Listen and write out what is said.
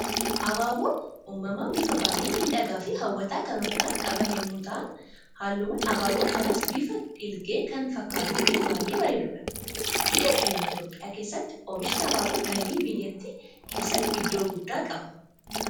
Abaaboon uumamaan bifa baayyee miidhagaa fi hawwataa kan ofirraa qaban yemmuu ta'an, halluun abaaboo kanaas bifa dhiilgee kan fakkatuu fi baayyee bareedudha. Biyya keenya Itoophiyaa keessatti oomishni abaaboo galii biyyaatti keessatti iddoo guddaa qaba.